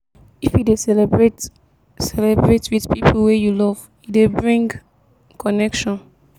if you dey celebrate celebrate with pipo wey you love e dey bring connection